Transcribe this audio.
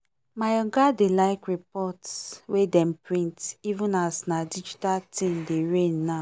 my oga dey like report wey dem print even as na digital thing dey reign now